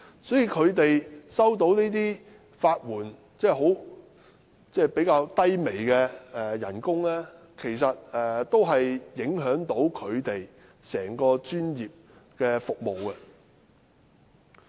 因此，他們在法援方面收取較低微的工資，其實也會影響他們的專業服務。